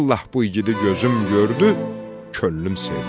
Vallah bu igidi gözüm gördü, könlüm sevdi.